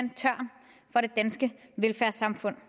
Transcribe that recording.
er det danske velfærdssamfund